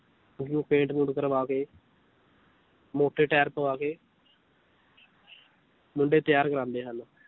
ਉਨੂੰ ਪੇਂਟ ਪੂੰਟ ਕਰਵਾ ਕੇ ਮੋਟੇ ਟੈਰ ਪਵਾ ਕੇ ਮੁੰਡੇ ਤੈਆਰ ਕਰਵਾਉਦੇ ਹਨ l